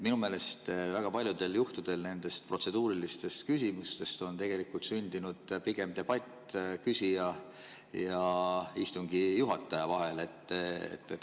Minu meelest väga paljudel juhtudel on nendest protseduurilistest küsimustest sündinud pigem debatt küsija ja istungi juhataja vahel.